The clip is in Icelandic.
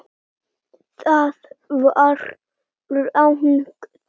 Það var rangt!